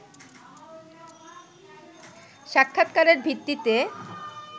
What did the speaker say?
সাক্ষাৎকারের ভিত্তিতে